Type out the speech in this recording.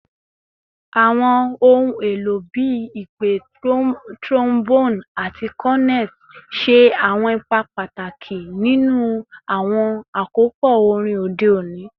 Awọn ohun elo bii ipè, trombone, ati cornet ṣe awọn ipa pataki ninu awọn akopọ orin ode oni.